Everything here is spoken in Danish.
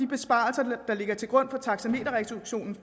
besparelser der ligger til grund for taksameterreduktionen